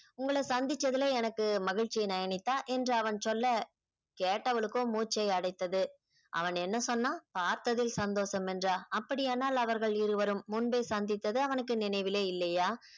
உங்கள சந்திச்சதுல எனக்கு மகிழ்ச்சி நயனித்தா என்று அவன் சொல்ல கேட்டவளுக்ககோ மூச்சை அடைத்தது அவன் என்ன சொன்னா பார்த்ததில் சந்தோஷம் என்றா அப்படியானால் அவர்கள் இருவரும் முன்பே சந்தித்தது அவனுக்கு நினைவிலே இல்லையா